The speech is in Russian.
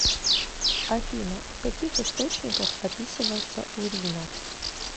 афина в каких источниках описывается урина